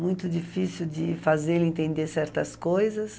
Muito difícil de fazer ele entender certas coisas.